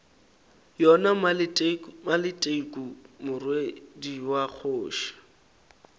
yona maleteku morwedi wa kgoši